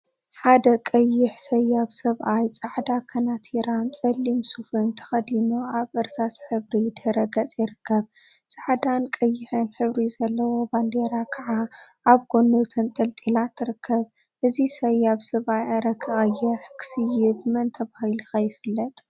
ሓደ ቀይሕ ሰያብ ሰብአይ ፃዐዳ ከናቲራን ፀሊም ሱፍን ተከዲኑ አብ እርሳስ ሕብሪ ድሕረ ገፅ ይርከብ፡፡ ፃዕዳን ቀይሕን ሕብሪ ዘለዋ ባንዴራ ከዓ አብ ጎኑ ተንጠልጢላ ትርከብ፡፡ እዚ ሰያብ ሰብአይ አረ ክቀይሕ.. ክስይብ መን ተባሂሉ ኸ ይፍለጥ፡፡